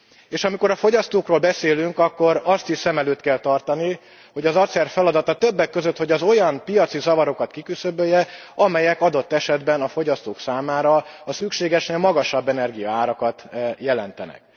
És amikor a fogyasztókról beszélünk, akkor azt is szem előtt kell tartani, hogy az ACER feladata többek között, hogy az olyan piaci zavarokat kiküszöbölje, amelyek adott esetben a fogyasztók számára szükségesen magasabb energiaárakat jelentenek.